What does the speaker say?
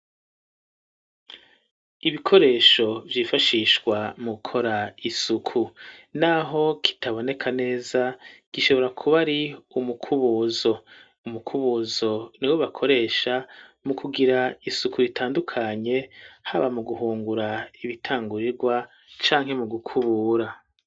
Ibikoresho vyifashishwa mu gukora isuku naho kitaboneka neza gishobora kuba ari umukubuzo, umukubuzo niwe bakoresha mu kugira isuku bitandukanye haba mu guhungura ibitangurirwa canke mu gukubura.